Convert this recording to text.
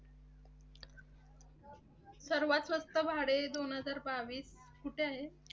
सर्वात स्वस्त भाडे दोन हजार बावीस कुठे आहे?